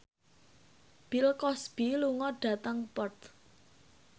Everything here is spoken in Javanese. Bill Cosby lunga dhateng Perth